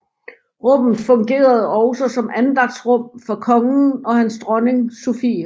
Rummet fungerede også som andagtsrum for kongen og hans dronning Sophie